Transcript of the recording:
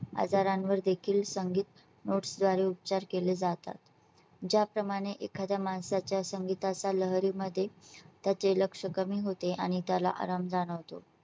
आजारांवर देखील संगीत notes द्वारे उपचार केले जातात . ज्या प्रमाणे एखाद्या माणसा च्या संगीताच्या लहरी मध्ये त्याचे लक्ष कमी होते आणि त्याला आराम जाणवतो.